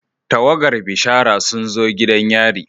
Tawagar bishara sun zo gidan yari.